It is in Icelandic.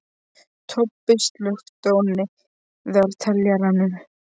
Tobbi, slökktu á niðurteljaranum.